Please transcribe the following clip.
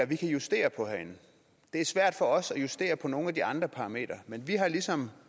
vi kan justere på herinde det er svært for os at justere på nogle af de andre parametre men vi har ligesom